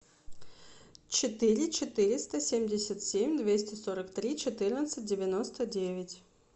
четыре четыреста семьдесят семь двести сорок три четырнадцать девяносто девять